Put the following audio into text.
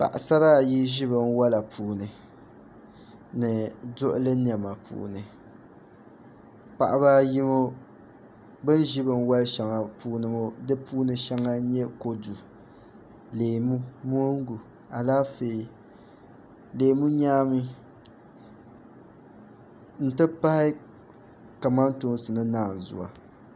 Paɣasara ayi ʒi binwola puuni ni duɣuli niɛma puuni paɣaba ayi ŋo bin ʒi binwoli shɛŋa puuni ŋo di puuni shɛŋa n nyɛ kodu leemu moongu Alaafee leemu nyaami n ti pahi kamantoosi ni naanzuwa